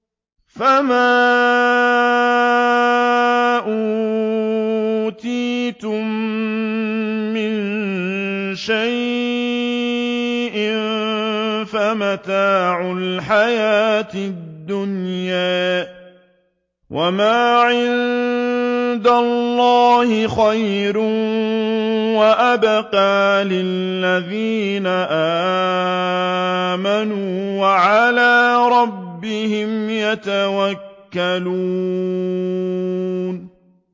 فَمَا أُوتِيتُم مِّن شَيْءٍ فَمَتَاعُ الْحَيَاةِ الدُّنْيَا ۖ وَمَا عِندَ اللَّهِ خَيْرٌ وَأَبْقَىٰ لِلَّذِينَ آمَنُوا وَعَلَىٰ رَبِّهِمْ يَتَوَكَّلُونَ